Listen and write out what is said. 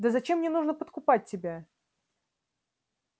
да зачем мне нужно подкупать тебя